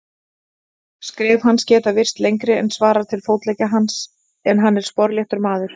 Skref hans geta virst lengri en svarar til fótleggja hans, en hann er sporléttur maður.